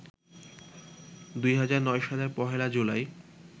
২০০৯ সালের ১লা জুলাই